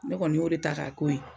Ne kɔni y'o de ta k'a k'o ye